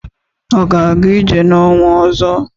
Ọ ga-aga ije n'ọnwa ọzọ?